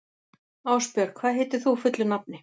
Ásbjörg, hvað heitir þú fullu nafni?